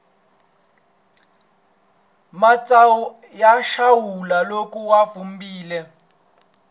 matsawu ya xawula loko ya vupfile